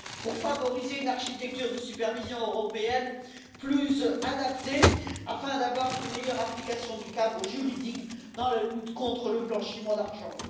à favoriser une architecture de supervision européenne plus adaptée afin de parvenir à une meilleure application du cadre juridique dans la lutte contre le blanchiment d'argent.